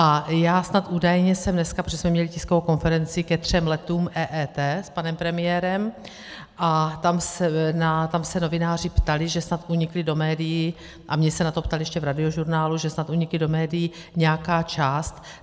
A já snad údajně jsem dneska, protože jsme měli tiskovou konferenci ke třem letům EET, s panem premiérem a tam se novináři ptali, že snad unikla do médií - a mě se na to ptali ještě v Radiožurnálu, že snad unikla do médií nějaká část.